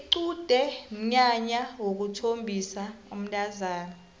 iqude mnyanya wokuthombisa umntazana